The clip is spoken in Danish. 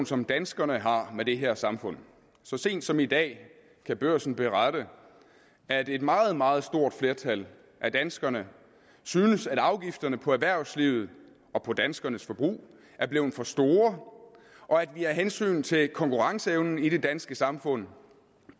som danskerne har med det her samfund så sent som i dag kan børsen berette at et meget meget stort flertal af danskerne synes at afgifterne på erhvervslivet og på danskernes forbrug er blevet for store og at vi af hensyn til konkurrenceevnen i det danske samfund